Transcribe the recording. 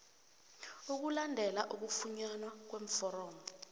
ukulandela ukufunyanwa kweforomo